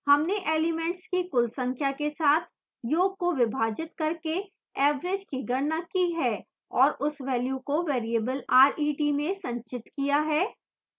हमने elements की कुल संख्या के साथ य़ोग को विभाजित करके average की गणना की है और उस वेल्यू को variable ret में संचित किया है